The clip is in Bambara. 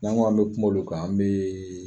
N'an ko an bɛ kuma ulu kan an bɛ